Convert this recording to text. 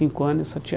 ano e eu só tinha